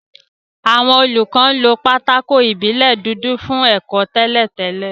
Àwọn olùkọ́ lo pátákó ìbílẹ̀ dúdú fún ẹ̀kọ́ tẹ́lẹ̀ tẹ́lẹ̀